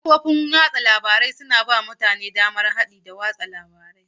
Kafofin watsa labaru suna ba mutane damar haɗi da raba bayanai.